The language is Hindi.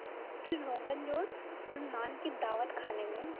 फिर रोग़नजोश और नान की दावत खाने में